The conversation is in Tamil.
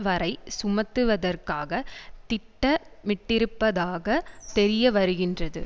வரை சுமத்துவதற்காக திட்டமிட்டிருப்பதாக தெரியவருகின்றது